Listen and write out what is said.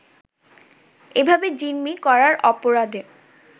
এভাবে জিম্মি করার অপরাধে